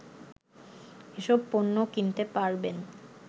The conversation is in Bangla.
এসব পণ্য কিনতে পারবেন